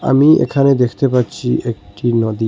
আমি এখানে দেখতে পাচ্ছি একটি নদী।